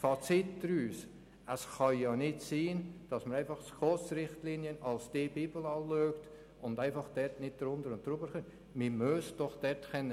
Das Fazit daraus: Es kann nicht sein, dass die SKOS-Richtlinien als Bibel angeschaut werden und wir nichts davon höher oder tiefer festlegen